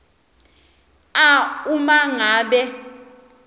a uma ngabe